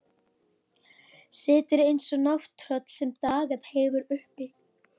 Situr eins og nátttröll sem dagað hefur uppi.